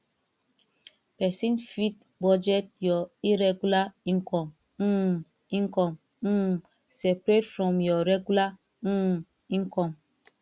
person fit budget your irregular income um income um separate from your regular um income